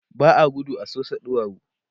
ba a gudu a Sosa ɗuwawu